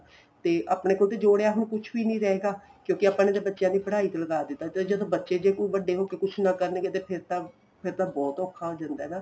ਤੇ ਆਪਣੇ ਕੋਲ ਤਾਂ ਜੋੜਿਆ ਹੁਣ ਕੁੱਝ ਵੀ ਨਹੀਂ ਰਹੇਗਾ ਕਿਉਂਕਿ ਆਪਾਂ ਨੇ ਬੱਚਿਆਂ ਦੀ ਪੜ੍ਹਾਈ ਤੇ ਲਗਾ ਦਿੱਤਾ ਤੇ ਬੱਚੇ ਜੇ ਕੋਈ ਵੱਡੇ ਹੋ ਕੇ ਕੁੱਝ ਨਾ ਕਰਨਗੇ ਤੇ ਫੇਰ ਤਾਂ ਬਹੁਤ ਔਖਾ ਹੋ ਜਾਂਦਾ ਏ ਨਾ